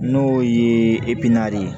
N'o ye ye